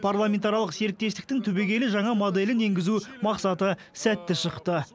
парламентаралық серіктестіктің түбегейлі жаңа моделін енгізу мақсаты сәтті шықты